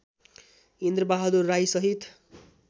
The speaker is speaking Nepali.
इन्द्रबहादुर राई सहित